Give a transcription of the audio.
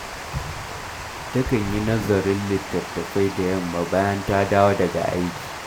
Takan yi nazarin littattafai da yamma bayan ta dawo daga aiki